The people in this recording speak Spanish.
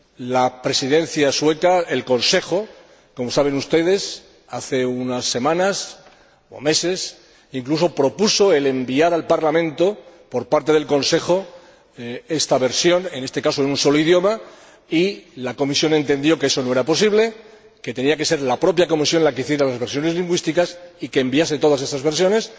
La Presidencia sueca, el Consejo, como saben ustedes, hace unas semanas, o meses incluso, propuso enviar al Parlamento, por parte del Consejo, esta versión, en este caso en un solo idioma y la Comisión entendió que eso no era posible, que tenía que ser la propia Comisión la que hiciera las versiones lingüísticas y enviase todas esas versiones.